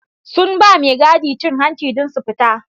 Sun bawa mai gadi cin hanci dan su fita